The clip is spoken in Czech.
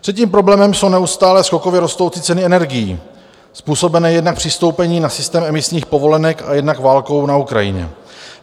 Třetím problémem jsou neustále skokově rostoucí ceny energií způsobené jednak přistoupením na systém emisních povolenek a jednak válkou na Ukrajině.